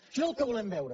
això és el que volem veure